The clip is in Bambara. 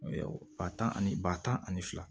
Ba tan ani ba tan ani fila